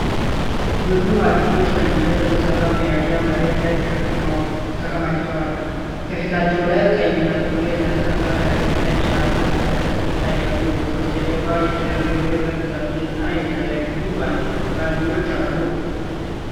ብዙ ማጭዶች ከእንጨት በተሠሩ መያዣዎች መሬት ላይ ተከማችተዋል። ከፊታቸው ላይ ቀይና ጥቁር የተነጠፈ ከረጢትና ነጭ የአትክልት ከረጢት ይታያሉ። ከበስተጀርባ የተደረደሩ የብረት ምጣዶችና የተለያዩ ባልዲዎች አሉ።